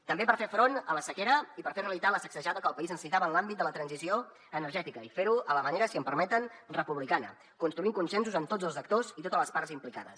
també per fer front a la sequera i per fer realitat la sacsejada que el país necessitava en l’àmbit de la transició energètica i fer ho a la manera si em permeten republicana construint consensos amb tots els actors i totes les parts implicades